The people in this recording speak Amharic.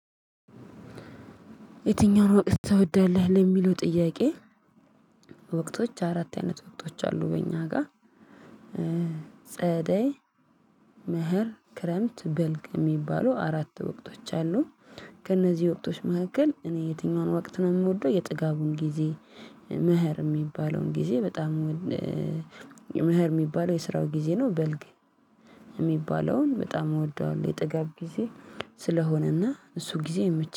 የትኛውን ወቅት ትወዳለህ ለሚለው ጥያቄ! ወቅቶች አራት አይነት ወቅቶች አሉ በእኛ ጋር። ጸደ፣ ምህር፣ ክረምት፣ በልቅ የሚባሉ አራት ወቅቶች አሉ ከእነዚህ ወቅቶች መካከል እኔ የትኛውን ወቅት ነው የምወደው የጥጋቡን ጊዜ ምህር የሚባለውን ጊዜ በጣም የምህር የሚባለው የስራው ጊዜ ነው። በልግ የሚባለውን በጣም እወደዋለሁ የጥጋብ ጊዜ ስለሆነና እሱ ጊዜ የመቼ፣